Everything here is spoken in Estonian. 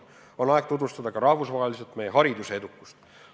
On aeg tutvustada ka rahvusvaheliselt meie hariduse edukust.